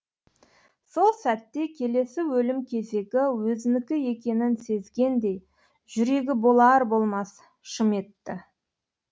сол сәтте келесі өлім кезегі өзінікі екенін сезгендей жүрегі болар болмас шым етті